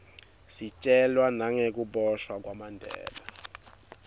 sitjelwa nagekubosha kwamandela